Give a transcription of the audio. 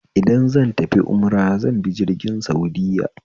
Idan zan tafi umra zanbi jirgin saudiya